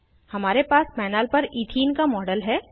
हमारे पास पैनल पर इथीन का मॉडल है